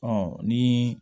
Ɔ ni